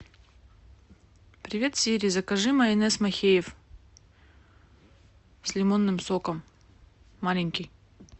привет сири закажи майонез махеев с лимонным соком маленький